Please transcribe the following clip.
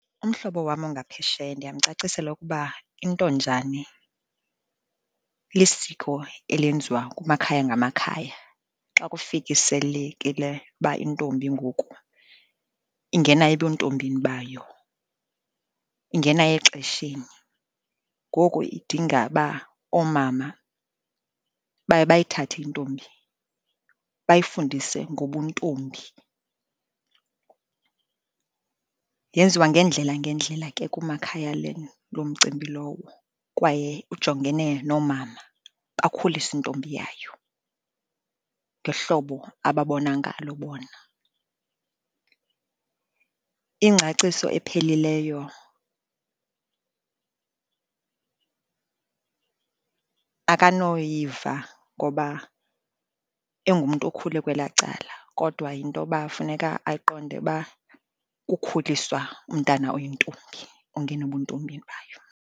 Umhlobo wam ongaphesheya ndiyamcacisela ukuba intonjane lisiko elenziwa kumakhaya ngamakhaya xa kufikiselekile uba intombi ngoku ingena ebuntombini bayo, ingena exesheni. Ngoku idinga uba oomama baye bayithathe intombi bayifundise ngobuntombi. Yenziwa ngeendlela ngeendlela ke kumakhaya lo mcimbi lowo, kwaye ujongene noomama bakhulise intombi yayo ngehlobo ababona ngalo bona. Ingcaciso ephelileyo akanoyiva ngoba engumntu okhule kwelaa cala, kodwa yinto yoba funeka ayiqonde uba kukhuliswa umntana oyintombi ongena ebuntombini bayo.